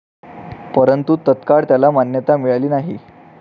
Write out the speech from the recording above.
परंतु तत्काळ त्याला मान्यता मिळाली नाही.